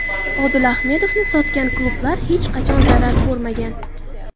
Odil Ahmedovni sotgan klublar hech qachon zarar ko‘rmagan.